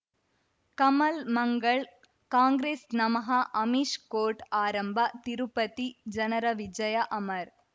ಕಮಲ್ ಮಂಗಳ್ ಕಾಂಗ್ರೆಸ್ ನಮಃ ಅಮಿಷ್ ಕೋರ್ಟ್ ಆರಂಭ ತಿರುಪತಿ ಜನರ ವಿಜಯ ಅಮರ್